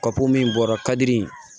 Papiye min bɔra kadi